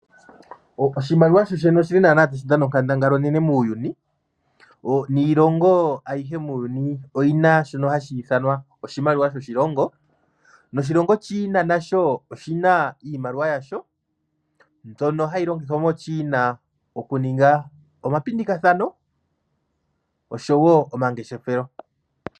Oshimaliwa oshi li naana tashi dhana onkandangala onene muuyuni, niilongo ayihe muuyuni oyi na shono hashi ithanwa oshimaliwa shoshilongo. Noshilongo China nasho oshina iimaliwa yasho, mbyono hayi longithwa moChina okuninga omapindikathano oshowo omangeshefelo.